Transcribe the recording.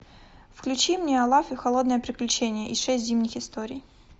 включи мне олаф и холодное приключение и шесть зимних историй